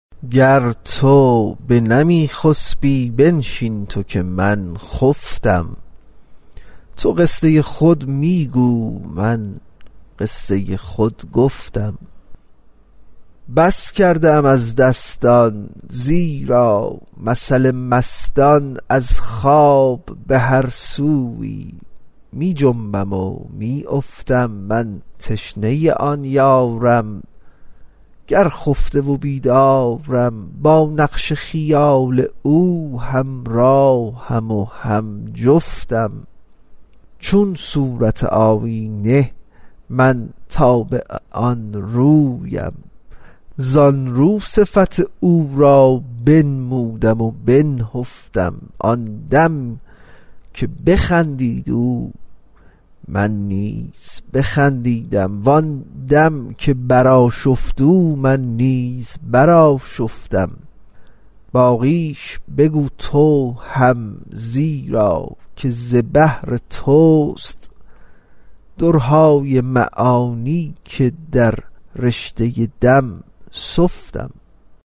گر تو بنمی خسپی بنشین تو که من خفتم تو قصه خود می گو من قصه خود گفتم بس کردم از دستان زیرا مثل مستان از خواب به هر سویی می خنبم و می افتم من تشنه آن یارم گر خفته و بیدارم با نقش خیال او همراهم و هم جفتم چون صورت آیینه من تابع آن رویم زان رو صفت او را بنمودم و بنهفتم آن دم که بخندید او من نیز بخندیدم وان دم که برآشفت او من نیز برآشفتم باقیش بگو تو هم زیرا که ز بحر توست درهای معانی که در رشته دم سفتم